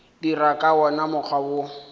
dira ka wona mokgwa wo